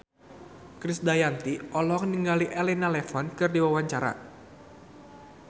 Krisdayanti olohok ningali Elena Levon keur diwawancara